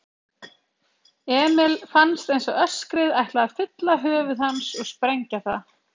Emil fannst einsog öskrið ætlaði að fylla höfuð hans og sprengja það.